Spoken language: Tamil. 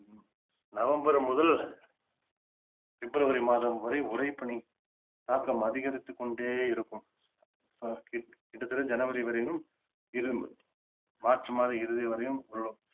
நவம்பர் முதல் பிப்ரவரி மாதம் வரை உரைப்பனி தாக்கம் அதிகரித்துக் கொண்டே இருக்கும் கிட்ட தட்ட ஜனவரி வரையிலும் இறுதி மார்ச் மாதம் இறுதி வரையும்